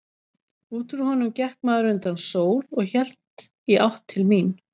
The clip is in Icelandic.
Út úr honum gekk maður undan sól og hélt í átt til mín.